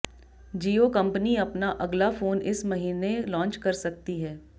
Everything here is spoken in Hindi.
जियो कंपनी अपना अगला फोन इस महीने लॉन्च कर सकती है